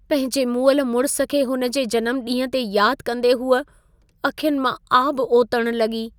पंहिंजे मुअल मुड़िस खे हुन जे जनमॾींहुं ते यादि कंदे हूअ अखियुनि मां आबु ओतणु लॻी।